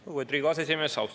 Lugupeetud Riigikogu aseesimees!